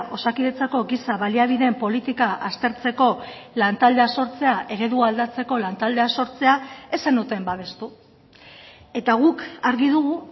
osakidetzako giza baliabideen politika aztertzeko lan taldea sortzea eredua aldatzeko lan taldea sortzea ez zenuten babestu eta guk argi dugu